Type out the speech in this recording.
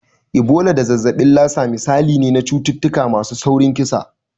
Ebola da zazzabin Lassa misalai ne na cututtuka masu saurin kisa.